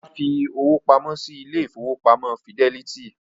Olá fi owó pamọ́ sí ilé ìfowópamọ́ Fídẹ́lítì